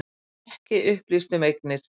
Ekki upplýst um eignir